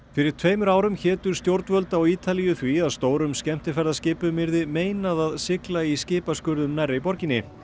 fyrir tveimur árum hétu stjórnvöld á Ítalíu því að stórum skemmtiferðaskipum yrði meinað að sigla í skipaskurðum nærri borginni